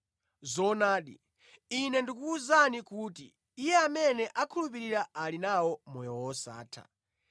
Zoonadi, Ine ndikukuwuzani kuti Iye amene akhulupirira ali nawo moyo wosatha.